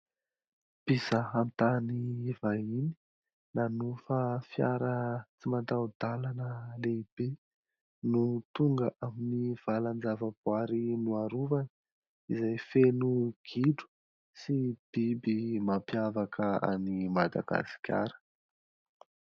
Mpizaha tany vahiny, nanofa fiara tsy mataho-dalana lehibe no tonga ao amin'ny valan-javaboary narovana izay feno gidro sy biby izay mampiavaka an'i Madagasikara.